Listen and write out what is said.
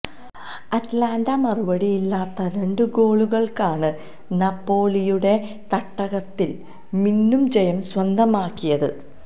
Atalanta മറുപടിയില്ലാത്ത രണ്ട് ഗോളുകള്ക്കാണ് നാപോളിയുടെ തട്ടകത്തില് മിന്നും ജയം സ്വന്തമാക്കിയത്